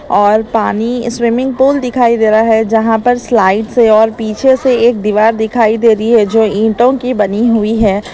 और पानी swimming pool दिखाई दे रहा है यहां पर स्लाइड से और पीछे से एक दीवार दिखाई दे रही है जो ईंटों की बनी हुई है।